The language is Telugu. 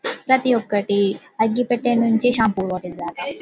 ప్రతి ఒక్కటి అగ్గి పెట్టె నుండి షాంపూ బాటిల్ దాకా --